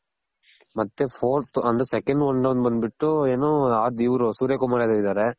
ಮತ್ತೆ fourth and second one done ಬಂದ್ ಬಿಟ್ಟು ಏನು ಸೂರ್ಯ ಕುಮಾರ್ ಅವ್ರ್ ಇದಾರೆ